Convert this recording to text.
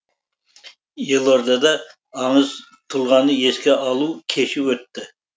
елордада аңыз тұлғаны еске алу кеші өтті